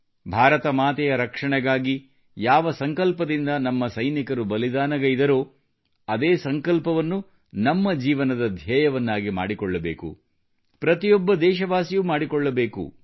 ಭಾರತ ಮಾತೆಯ ರಕ್ಷಣೆಗಾಗಿ ಯಾವ ಸಂಕಲ್ಪದಿಂದ ನಮ್ಮ ಸೈನಿಕರು ಬಲಿದಾನಗೈದರೋ ಅದೇ ಸಂಕಲ್ಪವನ್ನು ನಮ್ಮ ಜೀವನದ ಧ್ಯೇಯವನ್ನಾಗಿ ಮಾಡಿಕೊಳ್ಳಬೇಕು ಪ್ರತಿಯೊಬ್ಬ ದೇಶವಾಸಿಯೂ ಮಾಡಿಕೊಳ್ಳಬೇಕು